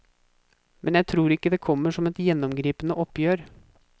Men jeg tror ikke det kommer som ett gjennomgripende oppgjør.